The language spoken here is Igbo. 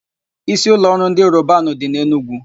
Ísíụlọọrụ ndị Robanu dị n'Enugwu.